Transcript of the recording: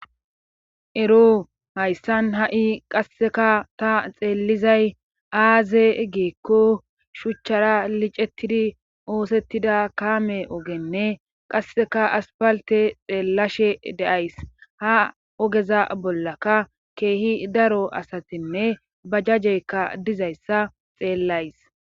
Ero hayssan ha'i qasseka ta xeellizay aaze geekko shuchchara licettidi oosettida kaame ogenne qasseka aspalte xeellashe de'ays ha ogeza bollaka keehi daro asatinne ba jajjeykka dizayssa xeellays.